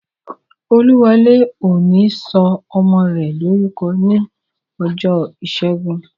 Olúwọlé ò ní sọ ọmọ rẹ̀ lórúkọ ní ọjọ́ ìṣẹ́gun